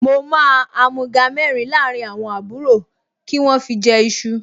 Mo máa àmúga mẹ́rin láàrín àwọn àbúrò kí wọ́n fi jẹ iṣu